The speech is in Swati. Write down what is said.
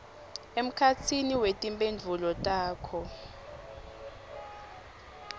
emkhatsini wetimphendvulo takho